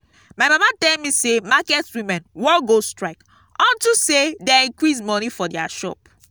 my mama tell me say market women wan go strike unto say dey increase money for their shop